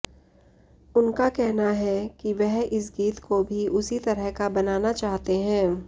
उनका कहना है कि वह इस गीत को भी उसी तरह का बनाना चाहते हैं